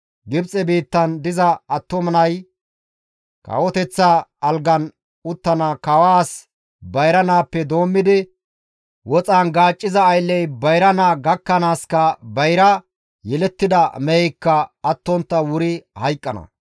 Gibxe biittan diza attuma nay, kawoteththa algan uttida kawaas bayra naappe doommidi, woxan gaacciza aylley bayra naa gakkanaaska bayra yelettida meheykka attontta wuri hayqqana.